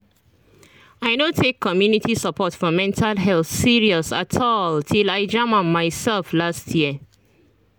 i no take community support for mental health serious at all till i jam am myself last year